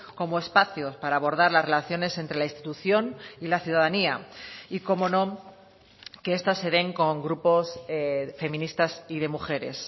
como espacios para abordar las relaciones entre la institución y la ciudadanía y cómo no que esta se den con grupos feministas y de mujeres